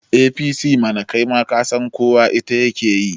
APC mana, kai ma kasan ita kowa yake yi